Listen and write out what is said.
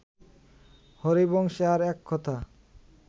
হরিবংশে আর এক কথা